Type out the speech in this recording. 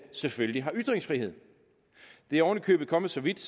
selvfølgelig har ytringsfrihed det er oven i købet kommet så vidt